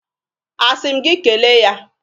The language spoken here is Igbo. A si m gị kele ya?